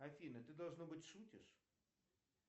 афина ты должно быть шутишь